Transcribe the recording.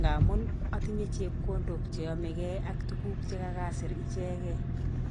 ngamun atinye chepkondok che yomekei ak tuguk che kakasir ichekei.